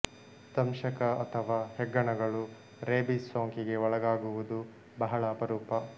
ದಂಶಕ ಅಥವಾ ಹೆಗ್ಗಣಗಳು ರೇಬೀಸ್ ಸೋಂಕಿಗೆ ಒಳಗಾಗುವುದು ಬಹಳ ಅಪರೂಪ